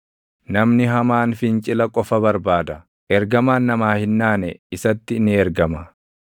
Namni hamaan fincila qofa barbaada; ergamaan namaa hin naane isatti ni ergama.